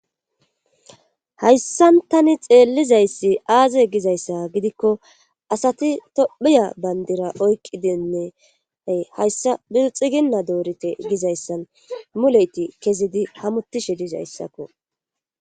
Hayssan tani xeellizayssi aaze gizayssa gidikko asati tophiya bandira oykqidinne hayssa xiginna doorite gizayssan muleyti kezidi hamutishe dizayssakko.